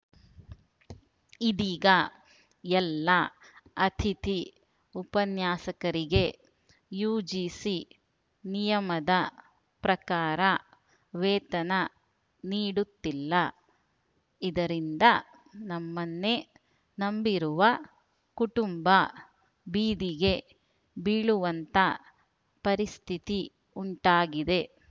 ಇದೀಗ ಎಲ್ಲ ಅತಿಥಿ ಉಪನ್ಯಾಸಕರಿಗೆ ಯುಜಿಸಿ ನಿಯಮದ ಪ್ರಕಾರ ವೇತನ ನೀಡುತ್ತಿಲ್ಲ ಇದರಿಂದ ನಮ್ಮನ್ನೇ ನಂಬಿರುವ ಕುಟುಂಬ ಬೀದಿಗೆ ಬೀಳುವಂತ ಪರಿಸ್ಥಿತಿ ಉಂಟಾಗಿದೆ